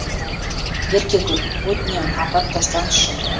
еркегүл өтінемін апарып тастаңызшы